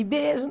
E beijo